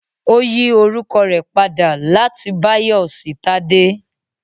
Ó yí orúkọ rẹ̀ padà láti Báyọ̀ sí Tádé